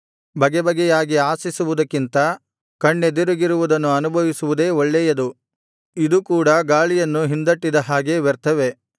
ಬಗೆಬಗೆಯಾಗಿ ಆಶಿಸುವುದಕ್ಕಿಂತ ಕಣ್ಣೆದುರಿಗಿರುವುದನ್ನು ಅನುಭವಿಸುವುದೇ ಒಳ್ಳೇಯದು ಇದು ಕೂಡ ಗಾಳಿಯನ್ನು ಹಿಂದಟ್ಟಿದ ಹಾಗೆ ವ್ಯರ್ಥವೇ